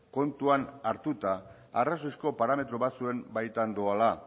kontuan hartuta arrazoizko parametro batzuen baitan doala